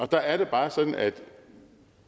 der er det bare sådan at